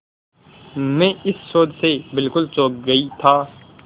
मैं इस शोध से बिल्कुल चौंक गई था